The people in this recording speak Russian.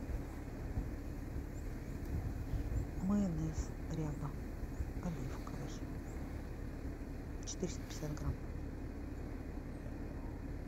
майонез ряба оливковый четыреста пятьдесят грамм